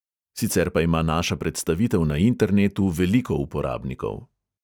Sicer pa ima naša predstavitev na internetu veliko uporabnikov.